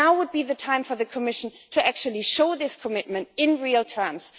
Now would be the time for the Commission to actually show this commitment in real terms.